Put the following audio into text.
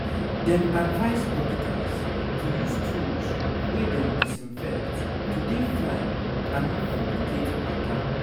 dem advice dokita's to use tools wey dem disinfect to dey fine and no complicate matter